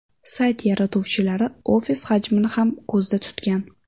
Sayt yaratuvchilari ofis hajmini ham ko‘zda tutgan.